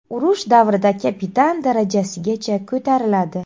Urush davrida kapitan darajasigacha ko‘tariladi.